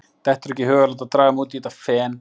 Dettur ekki í hug að láta draga mig út í þetta fen.